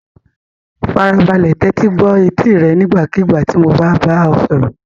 Farabalẹ̀ tẹ́tí gbọ́ etí rẹ nígbàkigbà tí mo bá bá ọ sọ̀rọ̀.